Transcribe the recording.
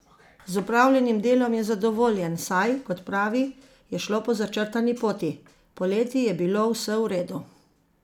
Z opravljenim delom je zadovoljen, saj, kot pravi, je šlo po začrtani poti: "Poleti je bilo vse v redu.